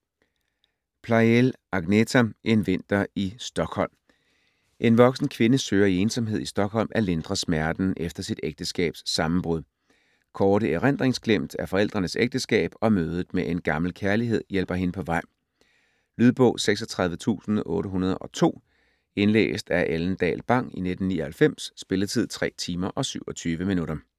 Pleijel, Agneta: En vinter i Stockholm En voksen kvinde søger i ensomhed i Stockholm at lindre smerten efter sit ægteskabs sammenbrud. Korte erindringsglimt af forældrenes ægteskab, og mødet med en gammel kærlighed hjælper hende på vej. Lydbog 36802 Indlæst af Ellen Dahl Bang, 1999. Spilletid: 3 timer, 27 minutter.